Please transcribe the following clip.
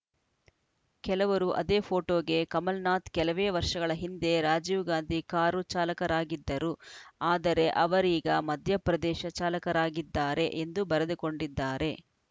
ಕೆಲವರು ಅದೇ ಪೋಟೋಗೆ ಕಮಲ್‌ ನಾಥ್‌ ಕೆಲವೇ ವರ್ಷಗಳ ಹಿಂದೆ ರಾಜೀವ್‌ ಗಾಂಧಿ ಕಾರು ಚಾಲಕರಾಗಿದ್ದರು ಆದರೆ ಅವರೀಗ ಮಧ್ಯಪ್ರದೇಶ ಚಾಲಕರಾಗಿದ್ದಾರೆ ಎಂದು ಬರೆದುಕೊಂಡಿದ್ದಾರೆ